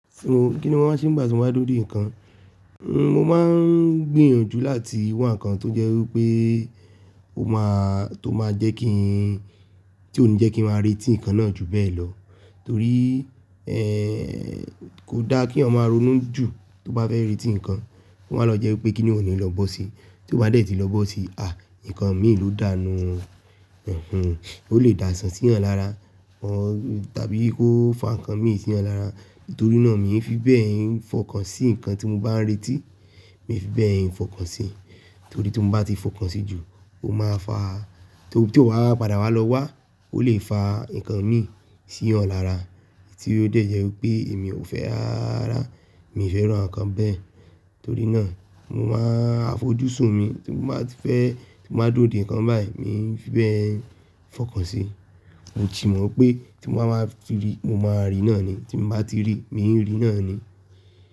Kí ni wọ́n máa ń ṣe nígbà tí wọ́n bá dúró dè nǹkan? Mo máa ń gbìyànjú láti wá nǹkan tó jẹ́ wípé ó máa, tó máa jẹ́ kí n, tí ó ní jẹ́ kí n máa retí nǹkan náà jù bẹ́ẹ̀ lọ torí, ẹ́, kò dá kí ọmọ arúnú jù tó bá fẹ́ retí nǹkan. Ó máa lọ jẹ́ wípé kí ni òní lọ bọ́ sí. Tí ó bá dẹ̀ tí lọ bọ́ sí, à! Nǹkan mi ló dànù. Ó lè dàsán sí èèyàn lára, tàbí kó fà nkàn mi sí ọ̀nà lára. Torí náà, mi ò fi bẹ́ẹ̀ fọkàn sí nǹkan tí mo bá ń retí, mi ò fi bẹ́ẹ̀ ń fọkàn sí. Torí tí mo bá ti fọkàn sí jù, ó máa fà á, tó, tí ó bá padà wá lọ wá, ó lè fà nǹkan mi sí ọ̀nà lára, tí ó dẹ̀ yẹ wípé èmi ò fẹ́ rárá, mi ò fẹ́ rán nǹkan bẹ́ẹ̀. Torí náà, mo máa fojú sùn mi tí mo bá ti fẹ́, tí mo bá dúró dè nǹkan báyìí, mi ò fi bẹ́ẹ̀ ń fọkàn sí. Mo sì mọ̀ pé tí mo máa ma fi rí, mo máa rí iná ni. Tí mo bá ti rí, mi ń rí iná ni.